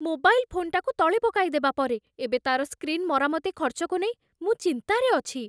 Mobile ଫୋନ୍‌ଟାକୁ ତଳେ ପକାଇଦେବା ପରେ, ଏବେ ତା'ର ସ୍କ୍ରିନ୍ ମରାମତି ଖର୍ଚ୍ଚକୁ ନେଇ ମୁଁ ଚିନ୍ତାରେ ଅଛି।